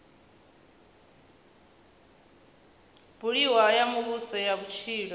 buliwaho ya muvhuso ya vhutshilo